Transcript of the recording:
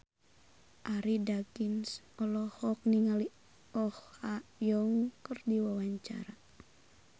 Arie Daginks olohok ningali Oh Ha Young keur diwawancara